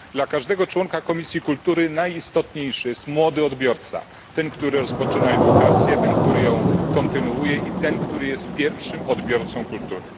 Dla każdego członka Komisji Kultury najistotniejszy jest młody odbiorca, ten, który rozpoczyna edukację, ten, który ją kontynuuje, i ten, który jest pierwszym odbiorcą kultury.